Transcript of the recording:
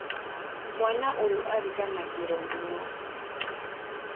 Mwana ũyũ ariganagĩro mũno.